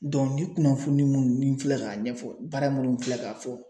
ni kunnafoni minnu ni n filɛ k'a ɲɛfɔ baara minnu filɛ ka fɔ.